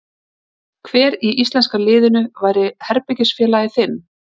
Hver í íslenska liðinu væri herbergisfélagi þinn?